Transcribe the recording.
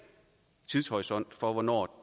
tidshorisont for hvornår